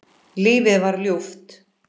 Lífið var ljúft.